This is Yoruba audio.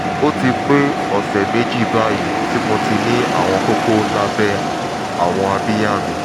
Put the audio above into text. ó ti pé ọ̀sẹ̀ méjì báyìí ti mo ti ní àwọn kókó lábẹ́ àwọn abíyá mi